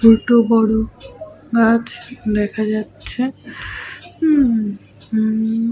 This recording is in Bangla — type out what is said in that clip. দুটো বড় গাছ দেখা যাচ্ছে হুম হুম --